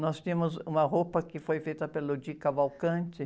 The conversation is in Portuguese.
Nós tínhamos uma roupa que foi feita pelo Di Cavalcanti.